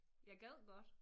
Jeg gad godt